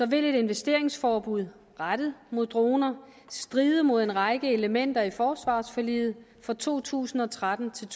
vil et investeringsforbud rettet mod droner stride mod en række elementer i forsvarsforliget for to tusind og tretten til